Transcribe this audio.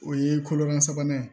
O ye kolola sabanan ye